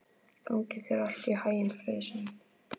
Gangi þér allt í haginn, Friðsemd.